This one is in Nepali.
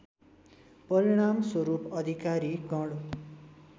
परिणामस्वरूप अधिकारी गण